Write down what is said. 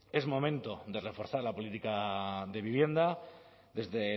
es momento de reforzar la política de vivienda desde